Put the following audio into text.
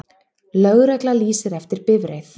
Lögregla lýsir eftir bifreið